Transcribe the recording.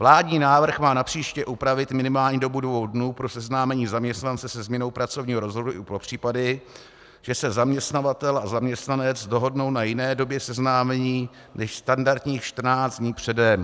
Vládní návrh má napříště upravit minimální dobu dvou dnů pro seznámení zaměstnance se změnou pracovního rozvrhu i pro případy, že se zaměstnavatel a zaměstnanec dohodnou na jiné době seznámení než standardních 14 dní předem.